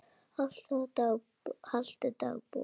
Haltu dagbók.